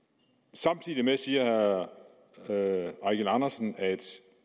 samtidig siger herre eigil andersen at